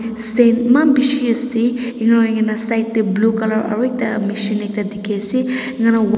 san emaan ase enu hoi kena side teh blue colour aru mechin ekta dekhi ase.